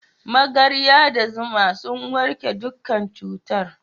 Magarya da zuma sun warke dukkan cutar.